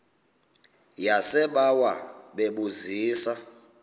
yasebawa bebu zisa